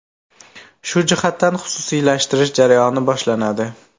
Shu jihatdan xususiylashtirish jarayoni boshlanadi.